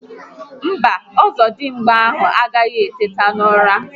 Mba, Ọzọdimgba ahụ agaghi eteta n'ụra